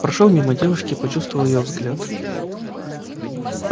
прошёл мимо девушки и почувствовал её взгляд